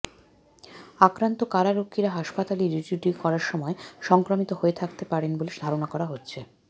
আক্রান্ত কারারক্ষীরা হাসপাতালে ডিউটি করার সময় সংক্রমিত হয়ে থাকতে পারেন বলে ধারণা করা হচ্ছে